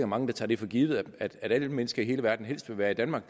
mange der tager det for givet at alle mennesker i hele verden helst vil være i danmark